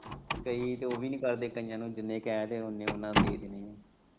ਕਈ ਤੇ ਓ ਵੀ ਨੀ ਕਰਦੇ ਕਈਆ ਨੂੰ ਜਿੰਨੇ ਕਹਿ ਦੋ ਉਨੇ ਉਨਾਂ ਨੇ ਦੇ ਦੇਣੇ ਐ।